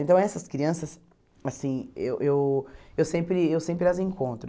Então essas crianças, assim, eu eu eu sempre eu sempre as encontro.